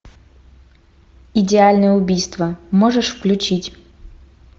идеальное убийство можешь включить